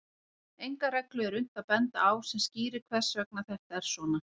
Enga reglu er unnt að benda á sem skýrir hvers vegna þetta er svona.